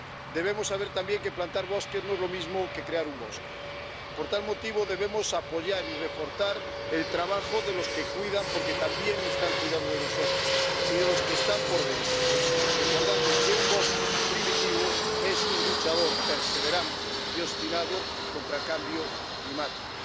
Debemos saber también que plantar bosques no es lo mismo que crear un bosque. Por tal motivo debemos apoyar y reforzar el trabajo de los que cuidan porque también están cuidando de nosotros y de los que están por venir, recordando que un bosque primitivo es un luchador perseverante y obstinado contra el cambio climático.